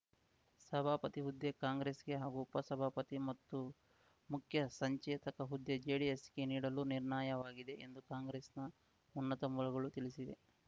ಸಭಾಪತಿ ಹುದ್ದೆ ಕಾಂಗ್ರೆಸ್‌ಗೆ ಹಾಗೂ ಉಪ ಸಭಾಪತಿ ಮತ್ತು ಮುಖ್ಯ ಸಂಚೇತಕ ಹುದ್ದೆ ಜೆಡಿಎಸ್‌ಗೆ ನೀಡಲು ನಿರ್ಣಯವಾಗಿದೆ ಎಂದು ಕಾಂಗ್ರೆಸ್‌ನ ಉನ್ನತ ಮೂಲಗಳು ತಿಳಿಸಿವೆ